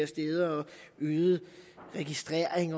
steder og øget registrering